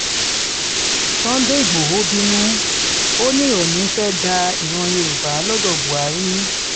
sunday igboro bínú o o ní oòní ìfẹ́ dá ìran yorùbá lọ́dọ̀ buhari